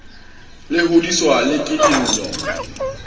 le hodiswa le ke dillo